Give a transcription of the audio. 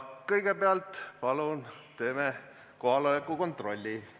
Kõigepealt palun teeme kohaloleku kontrolli!